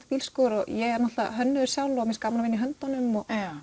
bílskúr og ég er hönnuður sjálf og finnst gaman að vinna í höndunum